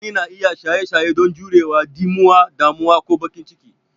Mutane na iya yin shaye shaye don jurewa ɗimuwa, damuwa, ko bakin ciki.